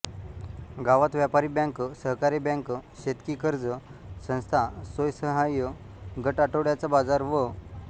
गावात व्यापारी बँक सहकारी बँक शेतकी कर्ज संस्था स्वयंसहाय्य गट आठवड्याचा बाजार व